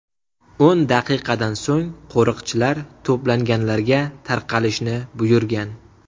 O‘n daqiqadan so‘ng qo‘riqchilar to‘planganlarga tarqalishni buyurgan.